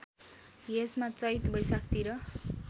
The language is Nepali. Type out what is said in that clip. यसमा चैत वैशाखतिर